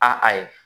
A a ye